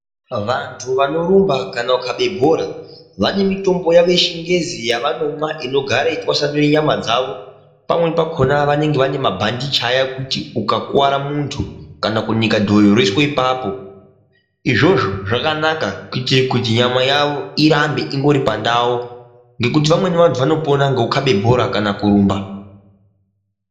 Vantu vanorumba kana kukabe bhora vane mitombo yavo yechingezi yavanomwa unogare yeitwasanure nyama dzavo, pamweni pakona vanenge vane mabhandichi aya ekuti ukakuwara muntu kana kunike dhoyo roiswe ipapo, izvozvo zvakanaka kuitire kuti nyama yavo irambe iri pandau ngekuti vamweni vantu vanopona ngekukabe bhora kana kurumba.